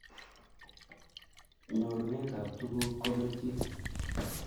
Nyurunet ab tuguk kokelchin